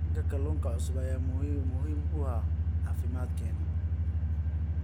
Helitaanka kalluunka cusub ayaa muhiim u ah caafimaadkeenna.